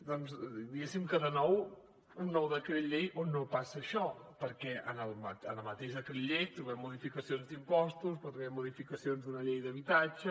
doncs diguéssim que de nou un nou decret llei on no passa això perquè en el mateix decret llei trobem modificacions d’impostos trobem modificacions d’una llei d’habitatge